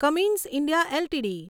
Cummins India LTD